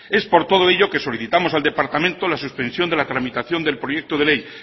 es por todo ello que solicitamos al departamento la suspensión de la tramitación del proyecto de ley